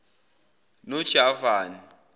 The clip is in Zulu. nojavani